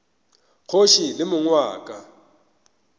kgoši le mong wa ka